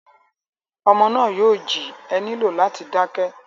Ọmọ náà yóò jí, e nílò láti dá kẹ́.